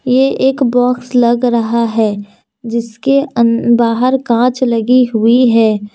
ये एक बॉक्स लग रहा है जिसके अं बाहर कांच लगी हुई है।